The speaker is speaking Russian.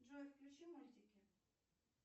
джой включи мультики